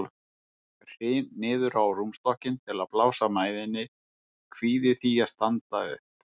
Hryn niður á rúmstokkinn til að blása mæðinni, kvíði því að standa upp.